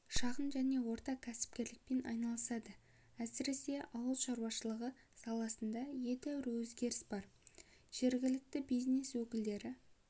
шағын және орта кәсіпкерлікпен айналысады әсіресе ауыл шаруашылығы саласында едәуір өзгеріс бар жергілікті бизнес өкілдері